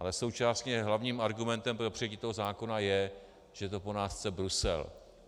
Ale současně hlavním argumentem pro přijetí toho zákona je, že to po nás chce Brusel.